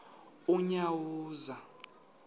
unyawuza